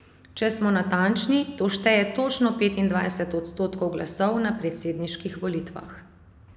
Če smo natančni, to šteje točno petindvajset odstotkov glasov na predsedniških volitvah.